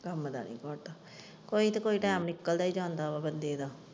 ਕੰਮ ਦਾ ਨਹੀਂ ਘਾਟਾ ਕੋਈ ਤਾਂ ਕੋਈ ਕੰਮ ਨਿਕਲਦਾ ਹੀ ਜਾਂਦਾ ਹੈ ਬੰਦੇ ਦਾ।